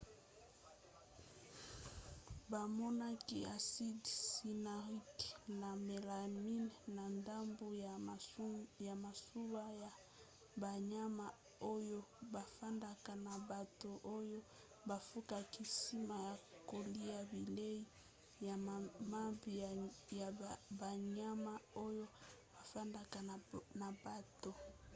bamonaki aside cyanurique na melamine na ndambu ya masuba ya banyama oyo bafandaka na bato oyo bakufaki nsima ya kolia bilei ya mabe ya banyama oyo efandaka na bato